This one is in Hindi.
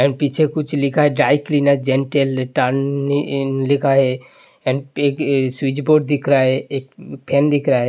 एण्ड पीछे कुछ लिखा है ड्राय क्लीनर लिखा है एंड एक स्विच बोर्ड दिख रहा है एक फेन दिख रहा है।